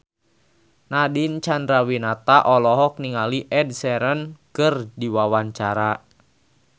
Nadine Chandrawinata olohok ningali Ed Sheeran keur diwawancara